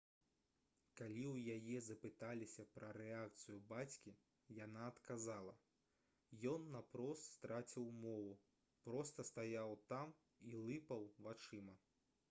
калі ў яе запыталіся пра рэакцыю бацькі яна адказала: «ён наўпрост страціў мову проста стаяў там і лыпаў вачыма»